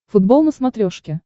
футбол на смотрешке